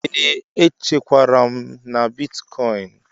Ee, echekwara m na bịtịkoin.